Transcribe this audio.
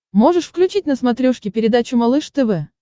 можешь включить на смотрешке передачу малыш тв